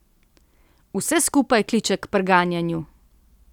Vse skupaj kliče k preganjanju!